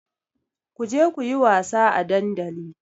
Ku je ku yi wasa a dandali!